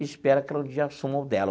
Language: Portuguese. Espera que ela te assuma o dela.